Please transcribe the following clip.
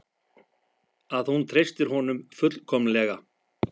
Að hún treystir honum fullkomlega.